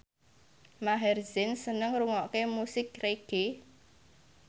Maher Zein seneng ngrungokne musik reggae